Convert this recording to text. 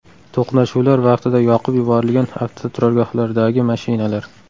To‘qnashuvlar vaqtida yoqib yuborilgan avtoturargohlardagi mashinalar.